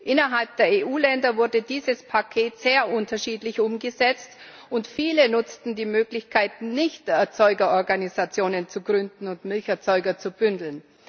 Innerhalb der EU Länder wurde dieses Paket sehr unterschiedlich umgesetzt, und viele nutzten die Möglichkeiten nicht, Erzeugerorganisationen zu gründen und Milcherzeuger zu bündeln.